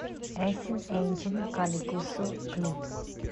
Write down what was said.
эсин энджин каликусу клип